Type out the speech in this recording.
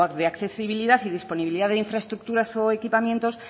de accesibilidad y disponibilidad de la infraestructuras o equipamientos